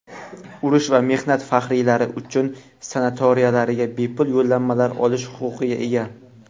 urush va mehnat faxriylari uchun sanatoriylariga bepul yo‘llanmalar olish huquqiga ega.